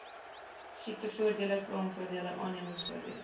siektevoordele kraamvoordele aannemingsvoordele